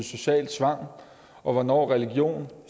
social tvang og hvornår religion